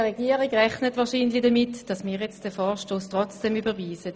Die Regierung rechnet wahrscheinlich damit, dass wir den Vorstoss trotzdem überweisen.